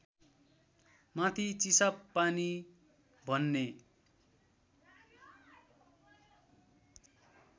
माथि चिसापानी भन्ने